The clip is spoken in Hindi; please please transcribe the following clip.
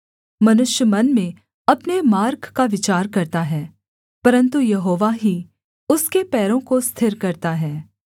मनुष्य मन में अपने मार्ग पर विचार करता है परन्तु यहोवा ही उसके पैरों को स्थिर करता है